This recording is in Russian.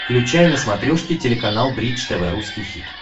включай на смотрешке телеканал бридж тв русский хит